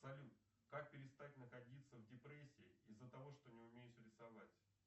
салют как перестать находиться в депрессии из за того что не умеешь рисовать